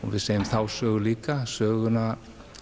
við segjum þá sögu líka söguna